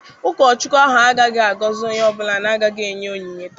Ụkọchukwu ahụ agaghị agọzi onye ọ bụla na-agaghị enye onyinye taa.